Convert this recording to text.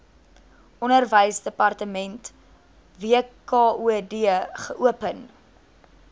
onderwysdepartement wkod geopen